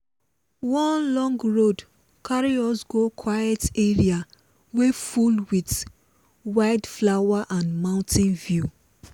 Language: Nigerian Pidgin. one long road carry us go quiet area wey full with wildflower and mountain view.